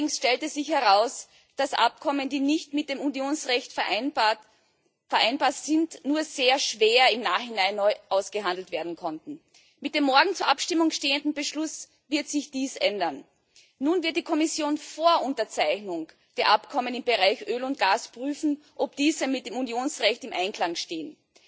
Allerdings stellte sich heraus, dass Abkommen, die nicht mit dem Unionsrecht vereinbar sind, nur sehr schwer im Nachhinein neu ausgehandelt werden konnten. Mit dem morgen zur Abstimmung stehenden Beschluss wird sich dies ändern. Nun wird die Kommission vor der Unterzeichnung der Abkommen im Bereich Öl und Gas prüfen, ob diese mit dem Unionsrecht im Einklang stehen.